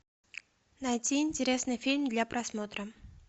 найти интересный фильм для просмотра